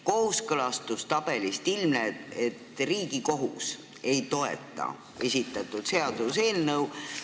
Kooskõlastustabelist ilmneb, et Riigikohus ei toeta seda seaduseelnõu.